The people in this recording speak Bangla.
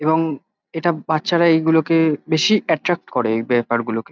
এবং এটা বাচ্চারা এইগুলোকে বেশী এট্রাক্ট করে এই ব্যাপার গুলোকে।